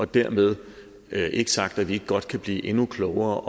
dermed være ikke sagt at vi ikke godt kan blive endnu klogere